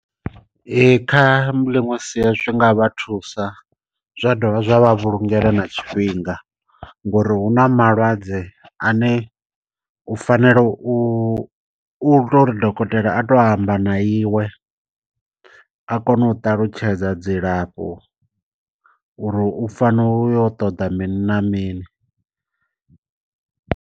Ee kha ḽiṅwe sia zwi nga vha thusa zwa dovha zwa vha vhulungela na tshifhinga. Ngori hu na malwadze ane u fanela u u to uri dokotela a to amba na iwe a kone u ṱalutshedza dzilafho uri u fanela u yo u ṱoḓa mini na mini.